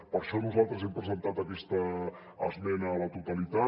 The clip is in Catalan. per això nosaltres hem presentat aquesta esmena a la totalitat